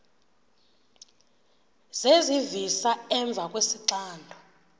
zezivisa emva kwesixando